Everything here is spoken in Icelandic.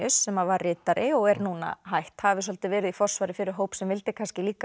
sem var ritari og er núna hætt hafi svolítið verið í forsvari fyrir hóp sem vildi kannski líka